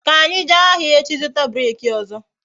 Ka anyi jee ahịa echi zụta breeki ọzọ